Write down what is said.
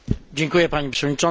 Pani Przewodnicząca!